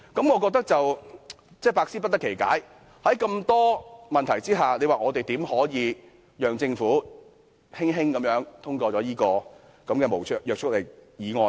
我百思不得其解，在眾多問題下，我們怎能夠讓政府輕輕通過這項無約束力議案呢？